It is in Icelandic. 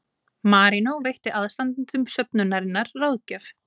Marínó veitti aðstandendum söfnunarinnar ráðgjöf